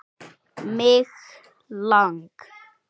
Mig lang